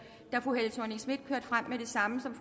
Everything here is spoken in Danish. da fru helle thorning schmidt kørte frem med det samme som